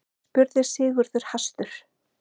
spurði Sigurður hastur.